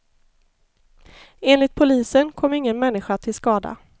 Enligt polisen kom ingen människa till skada.